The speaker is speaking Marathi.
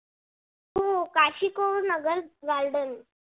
हो काशिकोल नगर garden